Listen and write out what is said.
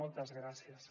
moltes gràcies